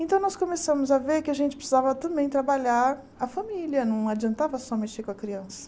Então, nós começamos a ver que a gente precisava também trabalhar a família, não adiantava só mexer com a criança.